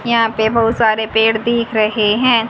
यहां पे बहुत सारे पेड़ दिख रहे हैं।